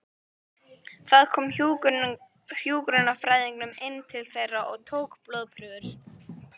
Það kom hjúkrunarfræðingur inn til þeirra og tók blóðprufur.